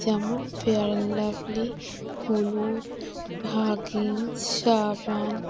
যেমন Fair and Lovely হলুদ Huggies সাবান--